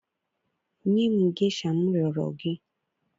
Nye m gesha m rịọrọ gị.